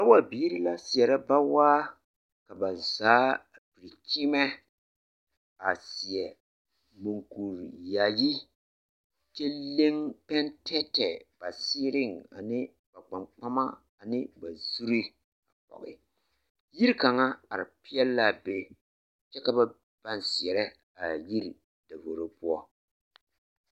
Bawabiiri la seɛrɛ bawaa ka ba zaa piri kyeemɛ a seɛ muŋkuri yaayi kyɛ leŋ pɛntɛɛtɛɛ ba seereŋ ne ba kpaŋkpama ne ba zuree a pɔɡe yiri kaŋa are peɛle la a be kyɛ ka ba pãã seɛrɛ a yiri davoro poɔ.